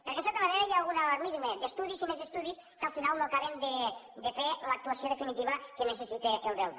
perquè en certa manera hi un alarmisme d’estudis i més estudis que al final no acaben de fer l’actuació definitiva que necessita el delta